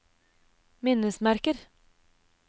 minnesmerker